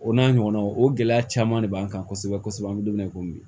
O n'a ɲɔgɔnw o gɛlɛya caman de b'an kan kosɛbɛ kosɛbɛ an bɛ don min na i komi bi